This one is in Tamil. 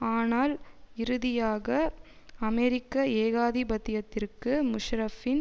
ஆனால் இறுதியாக அமெரிக்க ஏகாதிபத்தியத்திற்கு முஷாரஃபின்